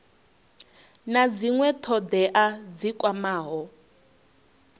na dzinwe thodea dzi kwamaho